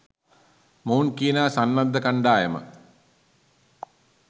මොවුන් කියනා සන්නද්ධ කණ්‌ඩායම